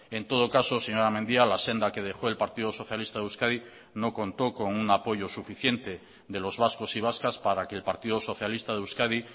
en todo caso señora mendia la senda que dejó el partido socialista de euskadi no contó con un apoyo suficiente de los vascos y vascas para que el partido socialista de euskadi